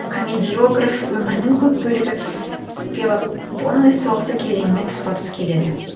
комедиограф өмірінің көп бөлігі пелопоннес соғысы кезеңімен тұспа тұс келеді